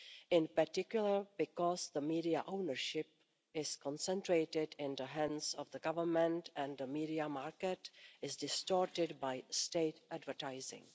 in particular because media ownership is concentrated in the hands of the Government and the media market is distorted by state advertising.